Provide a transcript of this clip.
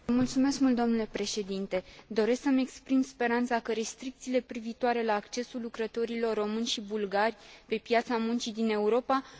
Doresc să mi exprim speranța că restricțiile privitoare la accesul lucrătorilor români și bulgari pe piața muncii din Europa, nu se vor menține și după